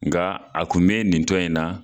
Nga a kun be nin tɔn in na